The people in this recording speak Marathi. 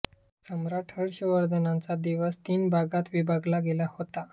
सम्राट हर्षवर्धनांचा दिवस तीन भागात विभागला गेला होता